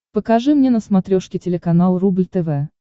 покажи мне на смотрешке телеканал рубль тв